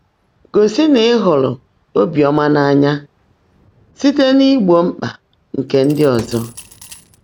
Gósị́ ná ị́ hụ́ụ́rụ́ óbíọ́mã n’áńyá síte n’ígbó mkpá nkè ndị́ ọ́zọ́